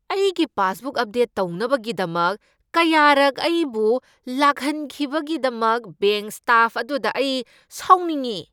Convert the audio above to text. ꯑꯩꯒꯤ passbook update ꯇꯧꯅꯕꯒꯤꯗꯃꯛ ꯀꯌꯥꯔꯛ ꯑꯩꯕꯨ ꯂꯥꯛꯍꯟꯈꯤꯕꯒꯤꯗꯃꯛ ꯕꯦꯡꯛ ꯁ꯭ꯇꯥꯐ ꯑꯗꯨꯗ ꯑꯩ ꯁꯥꯎꯅꯤꯡꯏ ꯫